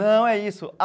Não, é isso.